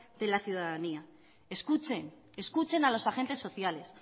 de la ciudadanía escuchen escuchen a los agentes sociales